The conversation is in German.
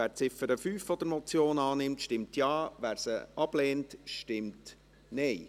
Wer die Ziffer 5 der Motion annimmt, stimmt Ja, wer sie ablehnt, stimmt Nein.